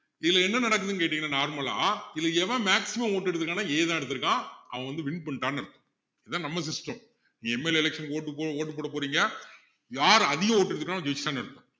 இதுல என்ன நடக்குதுன்னு கேட்டீங்கன்னா normal ஆ இதுல எவன் maximum vote எடுத்திருக்கான்னா A தான் எடுத்திருக்கான் அவன் வந்து win பண்ணிட்டான்னு அர்த்தம் இதான் நம்ம system நீ MLA election க்கு vote vote போட போறீங்க யாரு அதிக vote எடுத்துட்டானோ ஜெயிச்சிட்டான்னு அர்த்தம்